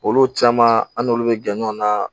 Olu caman an n'olu bɛ gan na